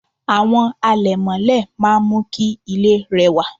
àwo àlẹ̀mọ́lẹ̀ máà ń mú kí ilé rẹwà